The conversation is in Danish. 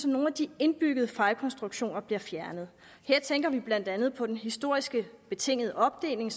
nogle af de indbyggede fejlkonstruktioner bliver fjernet her tænker vi blandt andet på den historisk betingede opdeling